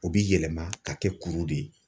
O bi yɛlɛma ka kɛ kuru de ye.